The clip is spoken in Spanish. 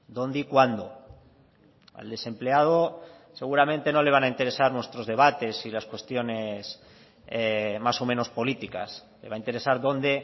dónde y cuándo al desempleado seguramente no le van a interesar nuestros debates y las cuestiones más o menos políticas le va a interesar dónde